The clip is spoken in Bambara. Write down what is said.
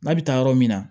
N'a bɛ taa yɔrɔ min na